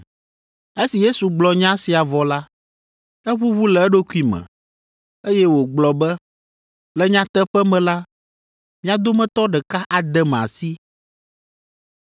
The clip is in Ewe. Esi Yesu gblɔ nya sia vɔ la, eʋuʋu le eɖokui me, eye wògblɔ be, “Le nyateƒe me la, mia dometɔ ɖeka adem asi.”